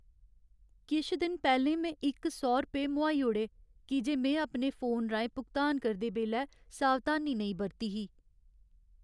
किश दिन पैह्लें में इक सौ रपेऽ मोहाई ओड़े की जे में अपने फोन राहें भुगतान करदे बेल्लै सावधानी नेईं बरती ही।